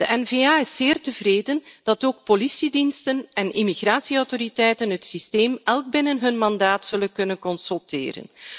De N VA is zeer tevreden dat ook politiediensten en immigratieautoriteiten het systeem elk binnen hun mandaat zullen kunnen consulteren.